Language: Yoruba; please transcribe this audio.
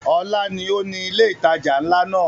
Ọlá ni ó ni ilé ìtajà nla náà.